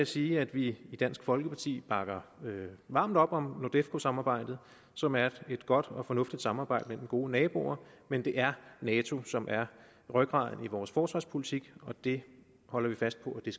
sige at vi i dansk folkeparti bakker varmt op om nordefco samarbejdet som er et godt og fornuftigt samarbejde mellem gode naboer men det er nato som er rygraden i vores forsvarspolitik og det holder vi fast på at det